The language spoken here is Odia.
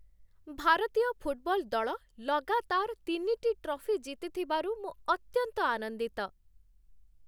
ଭାରତୀୟ ଫୁଟବଲ୍ ଦଳ ଲଗାତାର ତିନିଟି ଟ୍ରଫି ଜିତିଥିବାରୁ ମୁଁ ଅତ୍ୟନ୍ତ ଆନନ୍ଦିତ।